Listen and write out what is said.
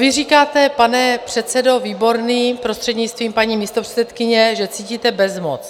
Vy říkáte, pane předsedo Výborný, prostřednictvím paní místopředsedkyně, že cítíte bezmoc.